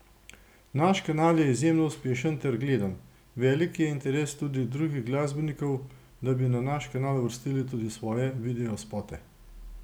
Naš kanal je izjemno uspešen ter gledan, velik je interes tudi drugih glasbenikov, da bi na naš kanal uvrstili tudi svoje videospote.